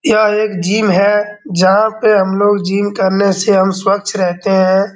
यह एक जिम है जहाँ पे हम लोग जिम करने से हम स्वच्छ रहते हैं।